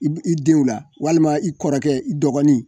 I b i denw la walima i kɔrɔkɛ i dɔgɔnin